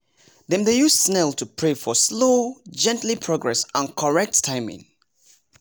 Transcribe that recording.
dem dey use snail to pray for slow gently progrss and correct timing